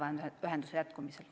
Andres Sutt, palun!